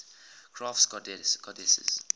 crafts goddesses